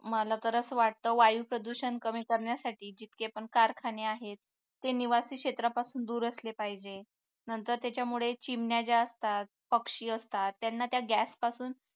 मला तर असं वाटतं वायू प्रदूषण कमी करण्यासाठी जितके पण कारखाने आहेत ते निवासी क्षेत्रापासून दूर असले पाहिजे नंतर त्याच्यामुळे चिमण्या ज्या असतात पक्षी असतात त्यांना त्या gas पासून